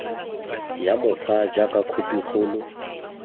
ya mokgwa jaaka khophi kgolo